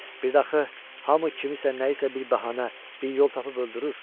Bir də axı hamı kimisə nəyisə bir bəhanə, bir yol tapıb öldürür.